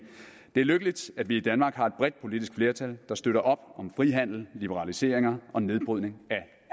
det er lykkeligt at vi i danmark har et bredt politisk flertal der støtter op om frihandel liberaliseringer og nedbrydning